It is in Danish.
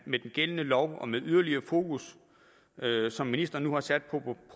med den gældende lov og med det yderligere fokus som ministeren nu har sat